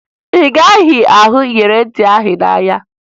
Ị gaghị ahụ iyeri ntị ahụ n'ahịa